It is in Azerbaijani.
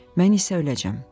Mən isə öləcəyəm."